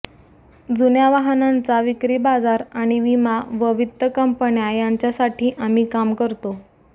जुन्या वाहनांचा विक्री बाजार आणि विमा व वित्त कंपन्या यांच्यासाठी आम्ही काम करतो